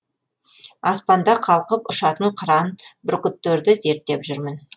аспанда қалқып ұшатын қыран бүркіттерді зерттеп жүрмін